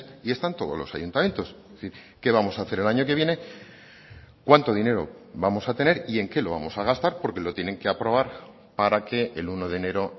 y están todos los ayuntamientos es decir qué vamos a hacer el año que viene cuánto dinero vamos a tener y en qué lo vamos a gastar porque lo tienen que aprobar para que el uno de enero